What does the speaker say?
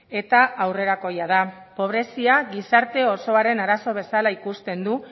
eta aurrerakoia da pobrezia gizarte osoaren arazo bezala ikusten du